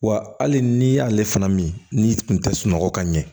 Wa hali n'i y'ale fana min n'i tun tɛ sunɔgɔ ka ɲɛ